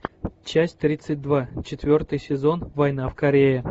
часть тридцать два четвертый сезон война в корее